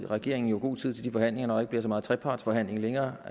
regeringen jo god tid til de forhandlinger når der bliver så mange trepartsforhandlinger længere